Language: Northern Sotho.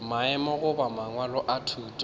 maemo goba mangwalo a thuto